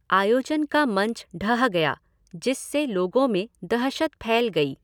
आयोजन का मंच ढह गया जिससे लोगों में दहशत फैल गई।